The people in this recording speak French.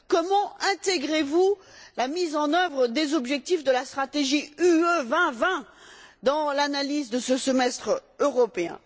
Comment intégrez vous la mise en œuvre des objectifs de la stratégie Europe 2020 dans l'analyse de ce semestre européen?